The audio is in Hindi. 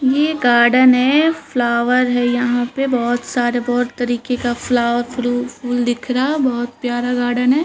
ये गार्डन है फ्लावर है यहाँ पे बोहोत सारे बोहोत तरीके के फ्लावर फ्रूट फूल दिखरा बहुत प्यारा गार्डन है।